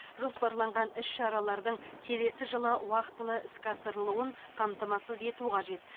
жоспарланған іс шаралардың келесі жылы уақтылы іске асырылуын қамтамасыз ету қажет